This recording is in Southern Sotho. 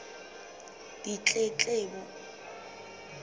ditletlebo